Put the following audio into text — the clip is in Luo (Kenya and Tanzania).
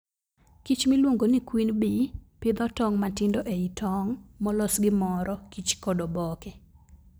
kich miluongo ni queen bee, pidho tong' matindo e i tong' molos gi moro kich kod oboke